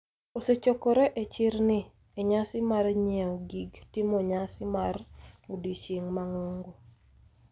osechokore e chirni e nyasi mar nyieo gig timo nyasi mar odiochieng' mang'ongo,